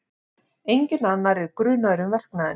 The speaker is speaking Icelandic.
Enginn annar er grunaður um verknaðinn